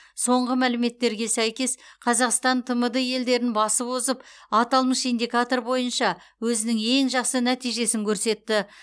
соңғы мәліметтерге сәйкес қазақстан тмд елдерін басып озып аталмыш индикатор бойынша өзінің ең жақсы нәтижесін көрсетті